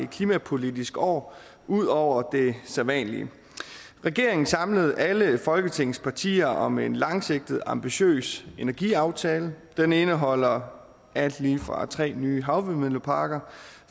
klimapolitisk år ud over det sædvanlige regeringen samlede alle folketingets partier om en langsigtet og ambitiøs energiaftale den indeholder alt lige fra tre nye havvindmølleparker